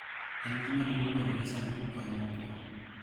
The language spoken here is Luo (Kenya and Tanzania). En gima duong� bedo gi saduk kony mokwongo